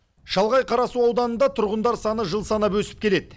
шалғай қарасу ауданында тұрғындар саны жыл санап өсіп келеді